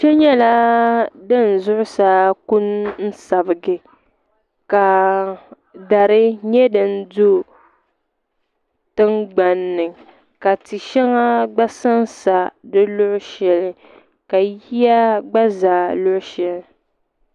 Kpɛ nyɛla din zuɣusaa ku n sabigi ka dari nyɛ din do tiŋgbanni ka tia shɛŋa gba sansa di luɣu shɛli ka yiya gba za di luɣu shɛli